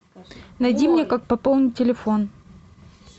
найди мне как пополнить телефон